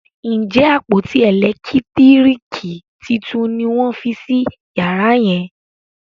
Njé àpótí elekitiriki títún ní wón fí sí yàrá yen?